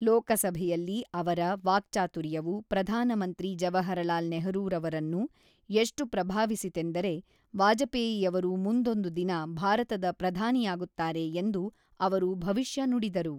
ಲೋಕಸಭೆಯಲ್ಲಿ ಅವರ ವಾಕ್ಚಾತುರ್ಯವು ಪ್ರಧಾನ ಮಂತ್ರಿ ಜವಾಹರಲಾಲ್ ನೆಹರೂರವರನ್ನು ಎಷ್ಟು ಪ್ರಭಾವಿಸಿತೆಂದರೆ, ವಾಜಪೇಯಿಯವರು ಮುಂದೊಂದು ದಿನ ಭಾರತದ ಪ್ರಧಾನಿಯಾಗುತ್ತಾರೆ ಎಂದು ಅವರು ಭವಿಷ್ಯ ನುಡಿದರು.